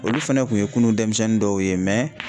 Olu fɛnɛ kun ye kunun denmisɛnnin dɔw ye